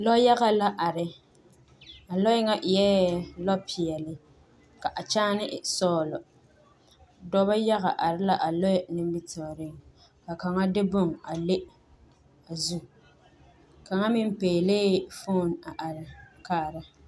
Lɛ yaga la are a lɔɛ ŋa eɛɛ lɔ peɛle ka a kyaane e sɔglɔ dɔbɔ yaga are la a lɔɛ nimitooreŋ ka kaŋa de bon a le o zu kaŋa meŋ pɛɛlɛɛ foone a are kaara.